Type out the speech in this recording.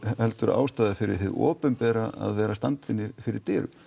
ástæða fyrir hið opinbera að vera að standa henni fyrir dyrum